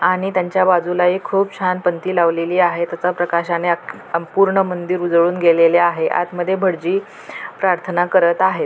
आणि त्यांच्या बाजूला एक खूप छान पणती लावलेली आहे त्याचा प्रकाशाने आ संपूर्ण मंदिर उजळून गेलेले आहे आतमध्ये भटजी प्रार्थना करत आहेत.